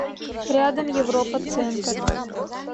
рядом европа центр